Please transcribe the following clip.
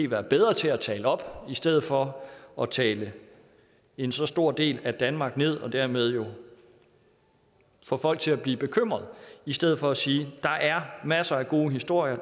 være bedre til at tale det op i stedet for at tale en så stor del af danmark ned og dermed få folk til at blive bekymrede i stedet for at sige der er masser af gode historier